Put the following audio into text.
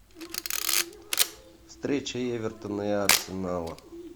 встреча эвертона и арсенала